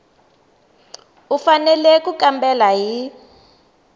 u fanele ku kambela hi